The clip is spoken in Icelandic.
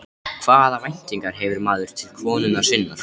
Hvaða væntingar hefur maður til konunnar sinnar?